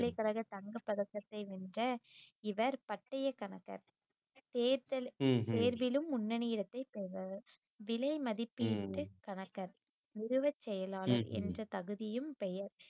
பல்கலைக்கழக தங்கப்பதக்கத்தை வென்ற இவர் பட்டயக் கணக்கர் தேர்தல் தேர்விலும் முன்னணி இடத்தைப் பெற்றவர், விலைமதிப்பீட்டு கணக்கர், செயலாளர் என்ற தகுதியும் பெயர்